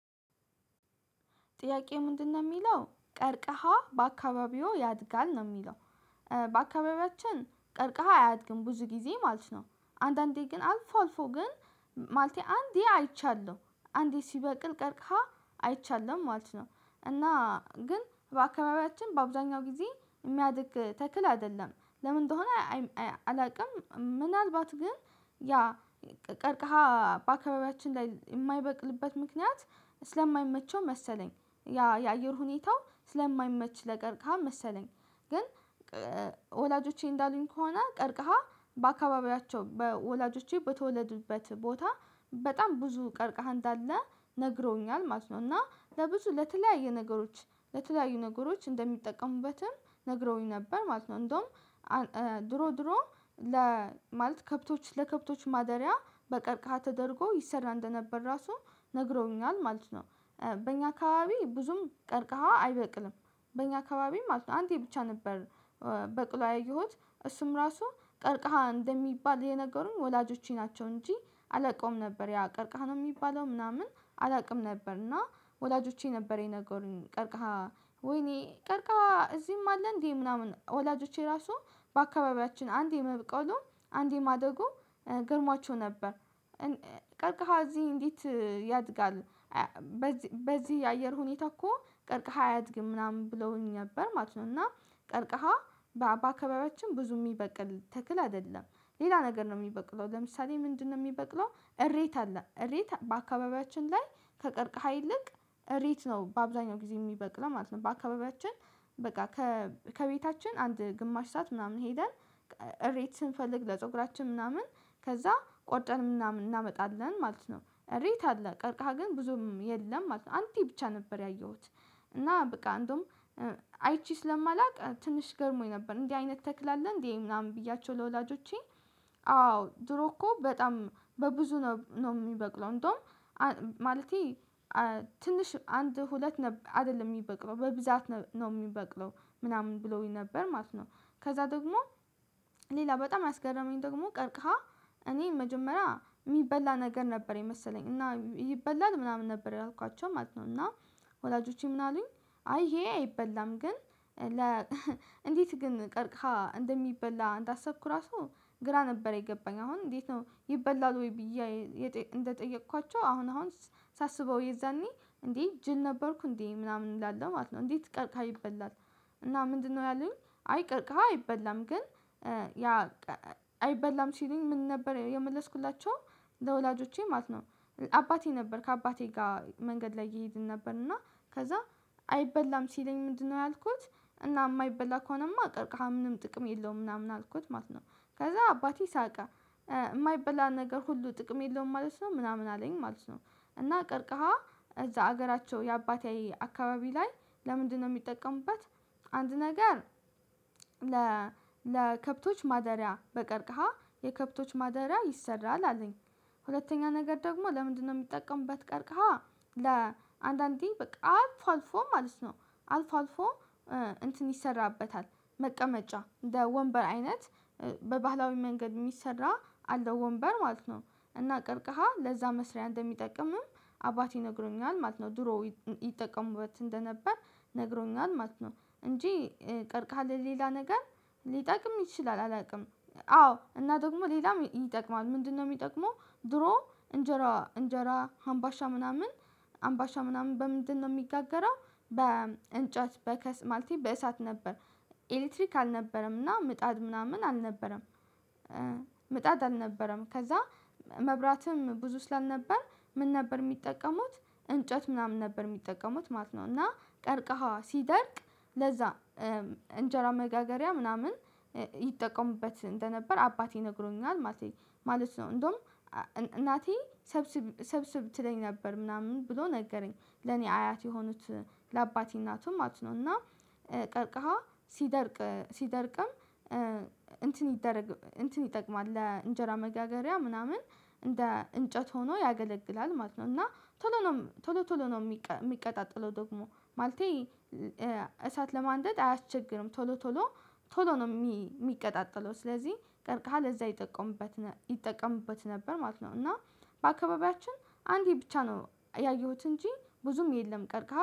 ጥያቄ ምንድነው የሚለው ቀርቀሃ በአካባቢዎ ያድጋል ነው የሚለው? በአካባቢያችን ቀርቀሃ አያድግም ብዙ ጊዜ ማለት ነው። አንዳንዴ ግን አልፎ አልፎ ግን ማለቴ አንዴ አይቻለሁ አንዴ ሲበቅል ቀርቀሃ አይቻለሁ ማለት ነው እና ግን በአካባቢያችን በአብዛኛው ጊዜ የሚያድግ ተክል አይደለም። ለምን እንደሆነ አላውቅም ምናልባት ግን ያ ቀርቀሃ በአካባቢያችን ላይ የማይበቅልበት ምክንያት ስለማይመቸው መሰለኝ። የአየር ሁኔታው ስለማይመች ለቀርካህ መሰለኝ ግን ወላጆቼ እንዳሉኝ ከሆነ ቀርቀሃ በአካባቢያቸው በወላጆቼ በተወለዱበት ቦታ በጣም ብዙ ቀርቀሃ እንዳለ ነግረውኛል ማለት ነው። እና ለብዙ ለተለያዩ ነገሮች ለተለያዩ ነገሮች እንደሚጠቀሙበትም ነግረውኝ ነበር ማለት ነው። እንደውም ድሮ ድሮ ማለት ከብቶች ለከብቶች ማደሪያ በቀርቃሃ ተደርጎ ይሰራ እንደነበር ራሱ ነግረውኛል ማለት ነው። በእኛ አካባቢ ብዙም ቀርቀሃ አይበቅልም። በእኛ አካባቢ ማለት ነው አንተ ብቻ ነበር። በቅሎ ያየሁት እሱም ራሱ ቀርቃሃ እንደሚባል የነገሩኝ ወላጆቼ ናቸው እንጂ አላውቀውም ነበር ያ ቀርቃሃ ነው የሚባለው ምናምን አላውቅም ነበር። እና ወላጆቼ ነበር የነገሩኝ ቀርቃሃ ወይኔ ቀርቃሃ እዚህም አለ እንዴ ምናምን ወላጆቼ ራሱ በአካባቢያችን አንዴ መብቀሉ አንዴ ማደጉ ገረሟቸው ነበር። ቀርቃሃ እዚህ እንዴት ያድጋል? በዚህ የአየር ሁኔታ እኮ ቀርቅሃ አያድግም ምናምን ብለውኝ ነበር ማለት ነው። እና ቀርቅሃ በአካባቢያችን ብዙ የሚበቅል ተክል አይደለም። ሌላ ነገር ነው የሚበቅለው ለምሳሌ ምንድነው የሚበቅለው እሬት አለ እሬት በአካባቢያችን ላይ ከቀርቅሃ ይልቅ ሬት ነው በአብዛኛው ጊዜ የሚበቅለው ማለት ነው። በአካባቢያችን በቃ ከቤታችን አንድ ግማሽ ሰዓት ምናምን ሄደን ሬት ስንፈልግ ለፀጉራችን ምናምን ከዛ ቆርጠን ምናምን እናመጣለን ማለት ነው። ሬት አለ ቀርቃህ ግን ብዙም የለም ማለት ነው። አንዴ ብቻ ነበር ያየሁት። እና በቃ አንዱም አይቼ ስለማላውቅ ትንሽ ገረሞኝ ነበር እንዲህ አይነት ተክላለህ እንዴ ምናምን ብያቸው ለወላጆቼ? አዎ ድሮ እኮ በጣም በብዙ ነው የሚበቅለው እንደውም ማለቴ ትንሽ አንድ ሁለት አይደለም የሚበቅለው በብዛት ነው የሚበቅለው ምናምን ብለውኝ ነበር ማለት ነው። ከዛ ደግሞ ሌላ በጣም ያስገረመኝ ደግሞ ቀርቀሃ እኔ መጀመሪያ የሚበላ ነገር ነበር የመሰለኝ እና ይበላል ምናምን ነበር ያልኳቸው ማለት ነው። እና ወላጆቼ ምን አሉኝ? አይ ይሄ አይበላም ግን። እንዴት ግን ቀርቅሃ እንደሚበላ እንዳሰብኩ ራሱ ግራ ነበረ የገባኝ። አሁን እንዴት ነው ይበላል ወይ ብዬ እንደጠየቅኳቸው? አሁን አሁን ሳስበው የዛኔ እንዴ ጅል ነበርኩ እንዴ ምናምን እላለሁ ማለት ነው። እንዴት ቀርቀሃ ይበላል? እና ምንድነው ያሉኝ አይ ቀርቅህ አይበላም ግን። ያ አይበላም ሲሉኝ ምን ነበር የመለስኩላቸው ለወላጆቼ ማለት ነው። አባቴ ነበር ከአባቴ ጋር መንገድ ላይ እየሄድን ነበር እና ከዛ አይበላም ሲለኝ ምንድነው ያልኩት? እና የማይበላ ከሆነማ ቀርቃሃ ምንም ጥቅም የለውም ምናምን አልኩት ማለት ነው። ከዛ አባቴ ሳቀ። የማይበላ ነገር ሁሉ ጥቅም የለውም ማለት ነው ምናምን አለኝ ማለት ነው። እና ቀርቀሃ እዛ ሀገራቸው የአባቴ አካባቢ ላይ ለምንድነው የሚጠቀሙበት? አንድ ነገር ለከብቶች ማደሪያ በቀርቀሃ የከብቶች ማደሪያ ይሰራል አለኝ። ሁለተኛ ነገር ደግሞ ለምንድነው የሚጠቀምበት ቀርቃሃ? ለአንዳንዴ በቃ አልፎ አልፎ ማለት ነው። አልፎ አልፎ እንትን ይሰራበታል። መቀመጫ ወንበር አይነት በባህላዊ መንገድ የሚሰራ አለው ወንበር ማለት ነው። እና ቀርቀሃ ለዛ መስሪያ እንደሚጠቅምም አባቴ ነግሮኛል ማለት ነው። ድሮ ይጠቀሙበት እንደነበር ነግሮኛል ማለት ነው። እንጂ ቀርቀሃ ለሌላ ነገር ሊጠቅም ይችላል አላውቅም። አዎ እና ደግሞ ሌላም ይጠቅማል ምንድነው የሚጠቅመው? ድሮ እንጀራ እንጀራ አምባሻ ምናምን አምባሻ ምናምን በምንድነው የሚጋገራው? በእንጨት በእሳት ነበር ኤሌክትሪክ አልነበረምና ምጣድ ምናምን አልነበረም። ምጣድ አልነበረም ከዛ መብራትም ብዙ ስላልነበር ምን ነበር የሚጠቀሙት? እንጨት ምናምን ነበር የሚጠቀሙት ማለት ነው። እና ቀርቀሃ ሲደርቅ ለዛ እንጀራ መጋገሪያ ምናምን ይጠቀሙበት እንደነበር አባቴ ነግሮኛል። ማለት ነው እንደውም እናቴ ሰብስብ ትለኝ ነበር ምናምን ብሎ ነገረኝ ለኔ አያት የሆኑት ለአባቴ እናቱም ማለት ነው። እና ቀርቀሃ ሲደርቅ ሲደርቅም እንትን ይደረግ እንትን ይጠቅማል ለእንጀራ መጋገሪያ ምናምን እንደ እንጨት ሆኖ ያገለግላል ማለት ነው። እና ቶሎ ነው ቶሎ ቶሎ ነው የሚቀጣጥለው ደግሞ ማለቴ እሳት ለማንደድ አያስቸግርም ቶሎ ቶሎ ቶሎ ነው የሚቀጣጠለው ስለዚህ ቀርቀሃል እዛ ይጠቀምበት። ይጠቀምበት ነበር ማለት ነው። እና በአካባቢያችን አንዴ ብቻ ነው ያየሁት እንጂ ብዙም የለም። ቀርቀሃል